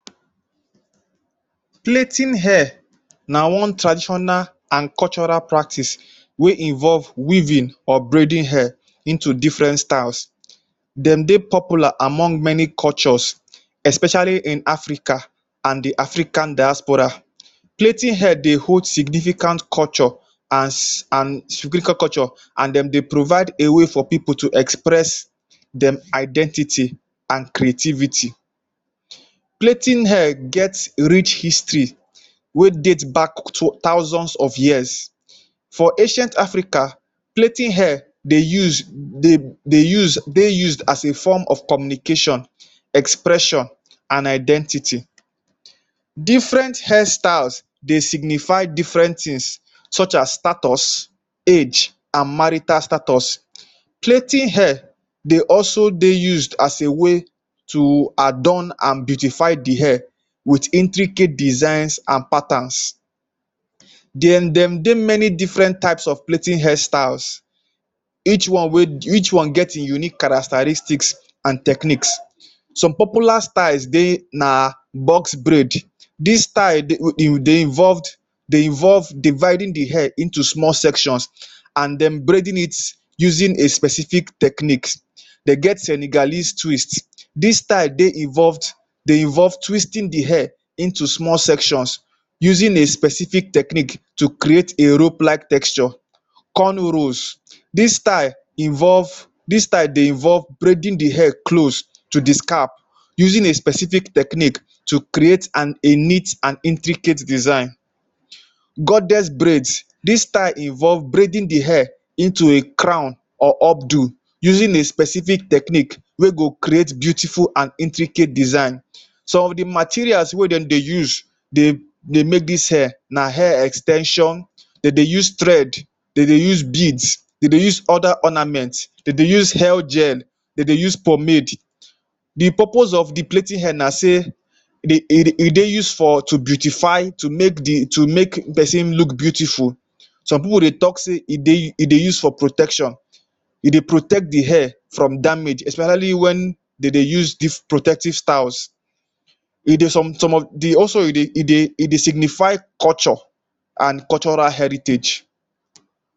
Plaiting hair na one traditional an cultural practice wey involve weaving or braiding hair into different styles Dem dey popular among many cultures especially in Africa an the African diaspora. Plaiting hair dey hold significant culture as an culture an dem dey provide a way for pipu to express dem identity an creativity. Plaiting hair get rich history wey date back to thousands of years. For Africa, plaiting hair dey use de use dey use as a form of communication, expression, an identity. Different hairstyles dey signify different tins such as status, age, an marital status. Plaiting hair dey also dey used as a way to adorn an beautify the hair with intricate designs an patterns. De um dem dey many different types of plaiting hairstyles each one wey each one get ein unique characteristics an techniques. Some popular dey na box braid: Dis style dey involved dey involve dividing the hair into small sections an um braiding it using a specific techniques. De get Senegalese twist: Dis style dey involved dey involve twisting the hair into small sections using a specific technique to create a rope-like texture. Corn rows: Dis style involve dis style dey involve braiding the hair close to the scalp suing a specific technique to create an an intricate design. Goddess braid: Dis style involve braiding the hair into a crown or up do using a specific technique wey go create beautiful an intricate design. Some of the materials wey dem dey use dey dey make dis hair na hair ex ten sion, de dey use thread, de dey use beads, de dey use other ornament, de dey use hairgel, de dey use pomade. The purpose of the plaiting hair na sey dey e dey use for to beautify to make the to make peson look beautiful. Some pipu dey talk sey e dey e deu use for protection. E dey protect the hair from damage especially wen de dey use protective styles. E dey some some of the also e dey e dey e dey signify culture an cultural heritage.